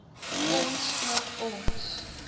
ons ook ons